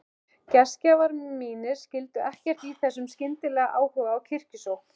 Gestgjafar mínir skildu ekkert í þessum skyndilega áhuga á kirkjusókn.